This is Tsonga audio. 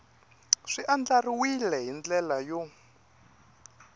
swi andlariwile hi ndlela yo